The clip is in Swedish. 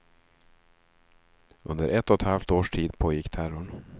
Under ett och ett halvt års tid pågick terrorn.